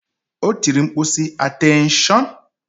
O tiri mkpu, sị, Ateenshon!